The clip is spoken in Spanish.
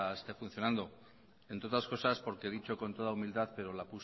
esté funcionando entre otras cosas porque dicho con toda humildad pero la